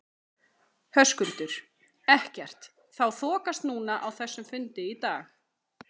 Höskuldur: Ekkert þá þokast núna á þessum fundi í dag?